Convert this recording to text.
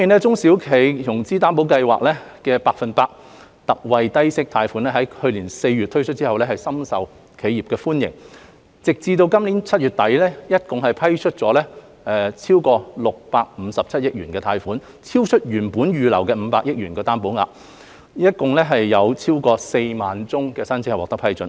中小企融資擔保計劃的百分百特惠低息貸款於去年4月推出後，深受企業的歡迎，截至今年7月底，已批出合共657億元貸款，超出原定預留的500億元擔保額，共批出超過4萬宗申請。